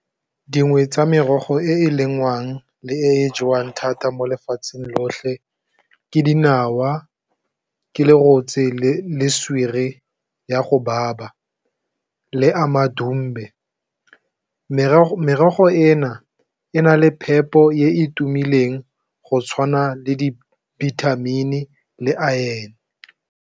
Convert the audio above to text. Dingwe tsa merogo e e lengwang le e jewang thata mo lefatsheng lotlhe ke dinawa, ke lorotse le swere ya go baba le amadomme merogo e na, e na le phepo e e tumileng go tshwana le di dibithamini le iron.